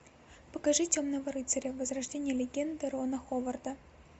покажи темного рыцаря возрождение легенды рона ховарда